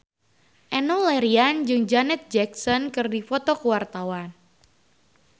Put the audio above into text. Enno Lerian jeung Janet Jackson keur dipoto ku wartawan